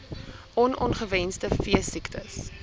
on ongewenste veesiektes